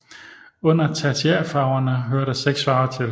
Under tertiærfarverne hører der seks farver til